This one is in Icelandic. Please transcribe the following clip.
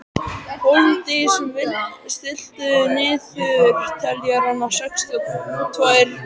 Hólmdís, stilltu niðurteljara á sextíu og tvær mínútur.